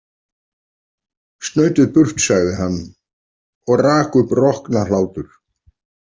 Snautið burt, sagði hann og rak upp roknahlátur.